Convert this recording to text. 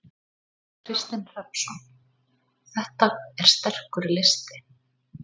Kristinn Hrafnsson: Þetta er sterkur listi?